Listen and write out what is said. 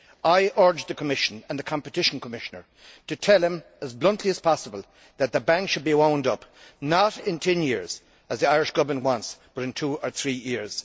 I urge the Commission, and the Competition Commissioner, to tell him as bluntly as possible that the bank should be wound up not in ten years, as the Irish Government wants, but in two or three years.